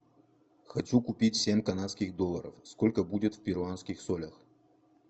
хочу купить семь канадских долларов сколько будет в перуанских солях